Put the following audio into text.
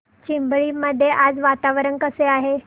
चिंबळी मध्ये आज वातावरण कसे आहे